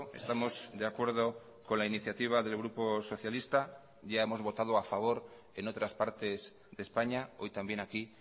estamos de acuerdo con la iniciativa del grupo socialista ya hemos votado a favor en otras partes de españa hoy también aquí